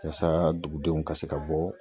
Yasa dugudenw ka se ka bɔ